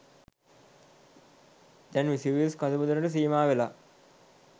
දැන් විසුවියස් කඳු මුදුනට සීමා වෙලා.